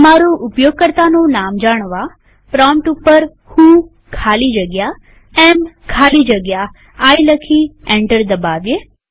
તમારું ઉપયોગકર્તાનું નામ જાણવાપ્રોમ્પ્ટ ઉપર વ્હો ખાલી જગ્યા એએમ ખાલી જગ્યા આઇ લખી એન્ટર દબાવીએ